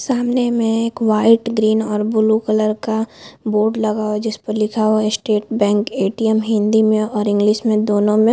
सामने में एक वाइट ग्रीन और ब्लू कलर का बोर्ड लगा हुआ है जिस पर लिखा हुआ है स्टेट बैंक ए.टी.एम हिंदी में और इंग्लिश में दोनों में।